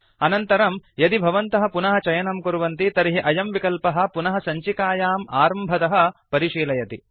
अनन्तरं यदि भवन्तः पुनः चयनं कुर्वन्ति तर्हि अयं विकल्पः पुनः सञ्चिकाम् आरम्भतः परिशीलयति